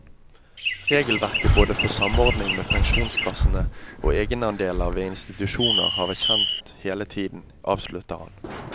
Regelverket både for samordning med pensjonskassene og egenandeler ved institusjoner har vært kjent hele tiden, avsluttet han.